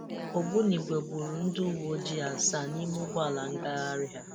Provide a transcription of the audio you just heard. Ògbúnìgwè gbúrù ndị ùwéojii àsàà n'ime ụ́gbọ́alà ngagharị ha.